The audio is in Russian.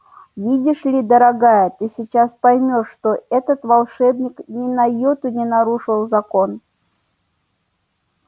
видишь ли дорогая ты сейчас поймёшь что этот волшебник ни на йоту не нарушил закон